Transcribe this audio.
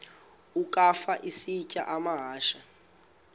ukafa isitya amahashe